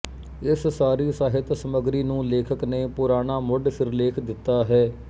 ਇਸ ਸਾਰੀ ਸਾਹਿਤ ਸਮਗਰੀ ਨੂੰ ਲੇਖਕ ਨੇ ਪੁਰਾਣਾ ਮੁੱਢ ਸਿਰਲੇਖ ਦਿੱਤਾ ਹੈ